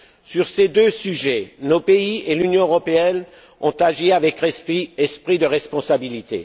Sur ces deux sujets, nos pays et l'Union européenne ont agi avec esprit de responsabilité.